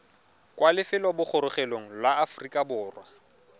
kwa lefelobogorogelong la aforika borwa